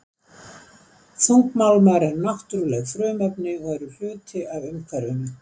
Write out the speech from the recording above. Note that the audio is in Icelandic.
Þungmálmar eru náttúruleg frumefni og eru hluti af umhverfinu.